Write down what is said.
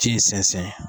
Ji in sɛnsɛn